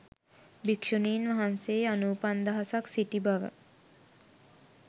භික්‍ෂුණින් වහන්සේ අනුපන්දහසක් සිටි බව